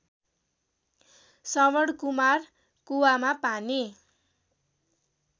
श्रवणकुमार कुवामा पानी